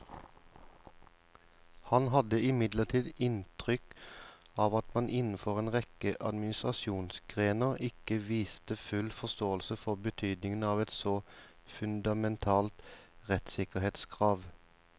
Han hadde imidlertid inntrykk av at man innenfor en rekke administrasjonsgrener ikke viste full forståelse for betydningen av et så fundamentalt rettssikkerhetskrav.